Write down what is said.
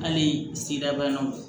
Hali sigida bannaw